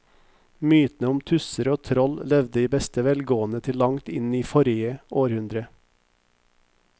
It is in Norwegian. Mytene om tusser og troll levde i beste velgående til langt inn i forrige århundre.